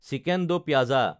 chicken do Paz